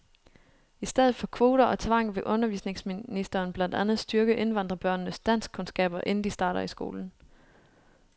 I stedet for kvoter og tvang vil undervisningsministeren blandt andet styrke indvandrerbørnenes danskkundskaber, inden de starter i skolen.